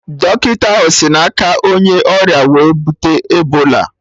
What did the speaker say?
Dọkịta ahụ sị na aka onye ọrịa wee bute Ebola